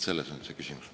Selles on küsimus.